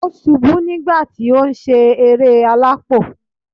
O subú nígbà ti o n sé eré alápò